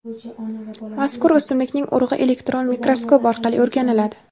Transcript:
mazkur o‘simlikning urug‘i elektron mikroskop orqali o‘rganiladi.